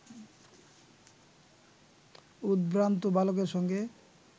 উদ্ভ্রান্ত বালকের সঙ্গে